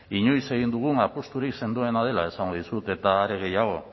inoiz egin dugun apusturik sendoena dela esango dizut eta are gehiago